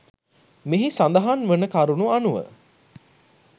මෙහි සඳහන් වන කරුණු අනුව